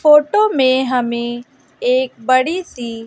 photo में हमें एक बड़ी सी--